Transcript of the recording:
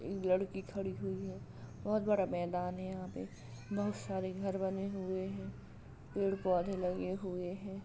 एक लड़की खड़ी हुई है बहुत बड़ा मैदान है यहां पे बहुत सारे घर बने हुए हैं। पेड़ पौधे लगे हुए हैं।